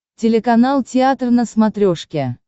телеканал театр на смотрешке